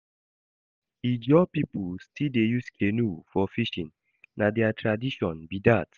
Ijaw pipo still dey use canoe for fishing, na their tradition be dat.